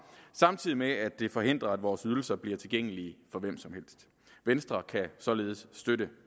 samtidig med at det forhindrer at vores ydelser bliver tilgængelige for hvem som helst venstre kan således støtte